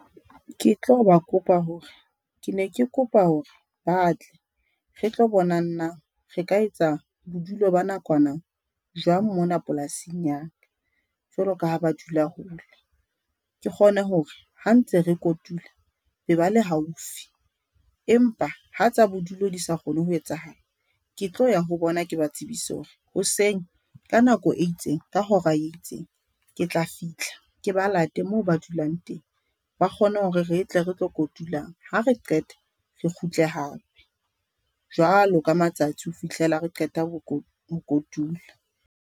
Ke tlo ba kopa hore ke ne ke kopa hore ba tle re tlo bonang na re ka etsa bodulo ba nakwana jwang mona polasing ya jwalo ka ha ba dula hole. Ke kgone hore ha ntse re kotula ba ba le ba le haufi empa ha tsa bodulo di sa kgone ho etsahala, ke tlo ya ho bona. Ke ba tsebise hore hoseng ka nako e itseng, ka hora e itseng, ke tla fihla ke ba late moo ba dulang teng ba kgone hore re tle re tlo kotulang ha re qete re kgutle hape jwalo ka matsatsi ho fihlela re qeta ho ho kotula.